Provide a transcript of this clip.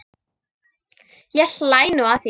Ég hlæ nú að því.